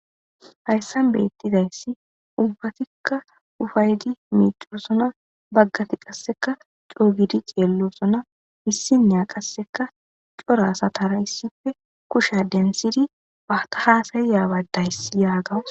Hayssan beettizayssi ubbatikka ufaydi miicorosona baggati qasseka coogidi ceellosona hissiniya qasseka cora satara issife kusha densidi bata haasayiya badayssi yaagawus.